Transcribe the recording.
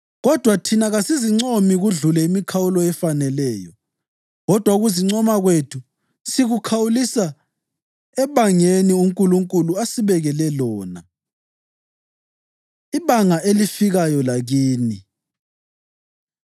Kodwa thina kasizincomi kudlule imikhawulo efaneleyo. Kodwa ukuzincoma kwethu sikukhawulisa ebangeni uNkulunkulu asibekele lona, ibanga elifikayo lakini.